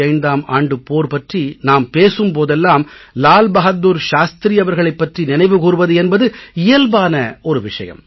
1965ம் ஆண்டுப் போர் பற்றி நாம் பேசும் போதெல்லாம் லால் பஹாதுர் சாஸ்த்ரி அவர்களைப் பற்றி நினைவு கூர்வது என்பது இயல்பான ஒரு விஷயம்